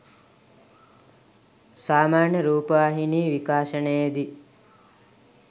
සාමාන්‍ය රූපවහිනී විකාශනයේදී